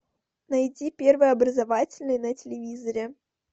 найти первый образовательный на телевизоре